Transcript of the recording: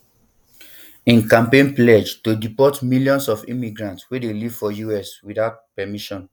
im campaign pledge to deport millions of immigrants wey dey live for us witout permission